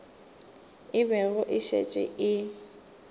e bego e šetše e